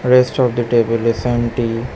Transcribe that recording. Rest of the table is empty.